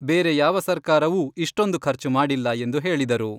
ಬೇರೆ ಯಾವ ಸರ್ಕಾರವೂ ಇಷ್ಟೊಂದು ಖರ್ಚು ಮಾಡಿಲ್ಲ ಎಂದು ಹೇಳಿದರು.